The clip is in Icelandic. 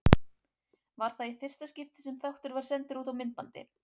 Var það í fyrsta skipti sem þáttur var sendur út á myndbandi.